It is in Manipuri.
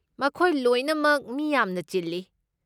ꯃꯈꯣꯏ ꯂꯣꯏꯅꯃꯛ ꯃꯤ ꯌꯥꯝꯅ ꯆꯤꯜꯂꯤ꯫